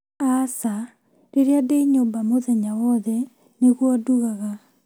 Aca rĩrĩa ndĩ nyũmba mũthenya wothe nĩguo ndugaga